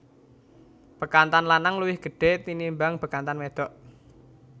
Bekantan lanang luwih gedhe tinimbang bekantan wedok